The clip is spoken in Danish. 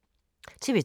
TV 2